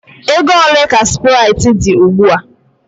Ego ole ka sprite dị ugbu a?